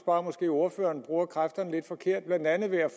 at ordføreren bruger kræfterne lidt forkert blandt andet ved at